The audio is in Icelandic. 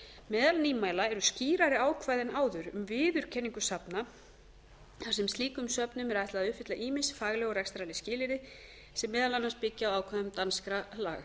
meðal nýmæla eru skýrari ákvæði en áður um viðurkenningu safna þar sem slíkum söfnum er ætlað að uppfylla ýmis fagleg og rekstrarleg skilyrði sem meðal annars byggja á ákvæðum danskra laga